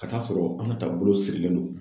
Ka taa sɔrɔ Aminata bolo sirilen don.